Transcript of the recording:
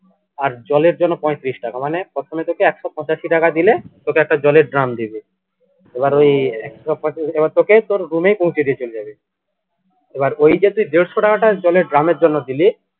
আর জলের জন্য পঁয়ত্রিশ টাকা মানে প্রথমে তোকে একশো পঁচাশি টাকা দিলে তোকে একটা জলের drum দিবে এবার ওই এবার তোকে তোর room এ পৌঁছে দিয়ে চলে যাবে এবার ওই যে তুই দেড়শো টাকাটা জলের drum এর জন্য দিলি